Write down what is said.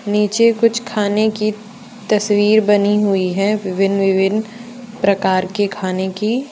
नीचे कुछ खाने की तस्वीर बनी हुई है विभिन्न विभिन्न प्रकार के खाने की।